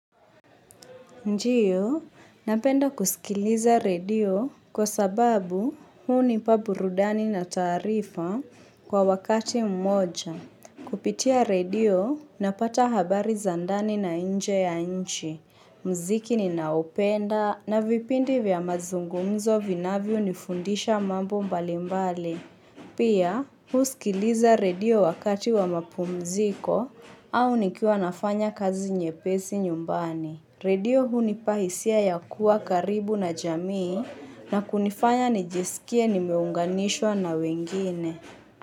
Ndio, napenda kusikiliza redio kwa sababu hunipa burudani na taarifa kwa wakati mmoja. Kupitia redio, napata habari za ndani na nje ya nchi. Mziki ninaoupenda na vipindi vya mazungumzo vinavyo nifundisha mambo mbali mbali. Pia, husikiliza redio wakati wa mapumziko au nikiwa nafanya kazi nyepesi nyumbani. Redio hunipahisia ya kuwa karibu na jamii na kunifanya nijisikie nimeunganishwa na wengine.